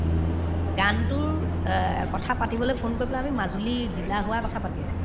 গানতোৰ অ কথা পাতিবলৈ phone কৰি পেলাই আমি মাজুলীৰ জিলা হোৱাৰ কথা পাতি আছিলো